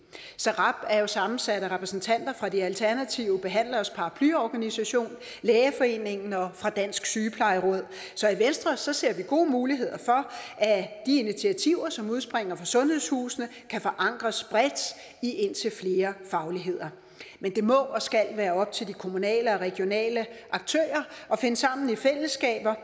srab er jo sammensat af repræsentanter fra de alternative behandleres paraplyorganisation lægeforeningen og fra dansk sygeplejeråd så i venstre ser vi gode muligheder for at de initiativer som udspringer fra sundhedshusene kan forankres bredt i indtil flere fagligheder men det må og skal være op til de kommunale og regionale aktører at finde sammen i fællesskaber